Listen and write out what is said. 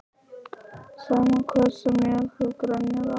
Sama hversu mjög þú grenjar á móti því.